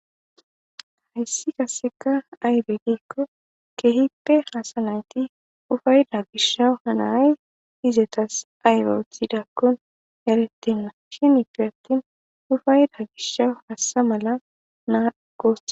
Hayssi kaseka aybediikko kehippe haasa nayti ufaayda gishawu hanaay izetas aybe othidakkon erettenna shinifi attin ufayda gishawu hassa mala naa gus.